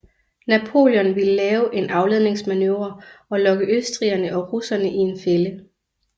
Napoleon ville lave en afledningsmanøvre og lokke østrigerne og russerne i en fælde